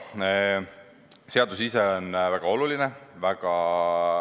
Seadus ise on aga väga oluline.